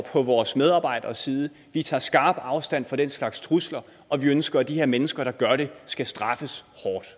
på vores medarbejderes side og vi tager skarp afstand fra den slags trusler og vi ønsker at de her mennesker der gør det skal straffes